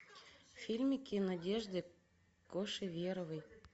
фильмики надежды кошеверовой